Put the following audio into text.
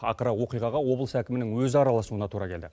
ақыры оқиғаға облыс әкімінің өзі араласуына тура келді